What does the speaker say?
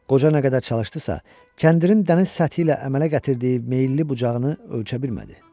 Qoca nə qədər çalışdısa, kəndirin dəniz səthi ilə əmələ gətirdiyi meyilli bucağını ölçə bilmədi.